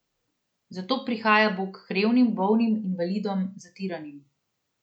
Zato prihaja Bog k revnim, bolnim, invalidom, zatiranim.